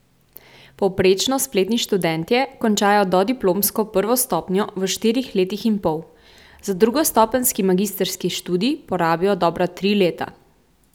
Povprečno spletni študentje končajo dodiplomsko prvo stopnjo v štirih letih in pol, za drugostopenjski magistrski študij porabijo dobra tri leta.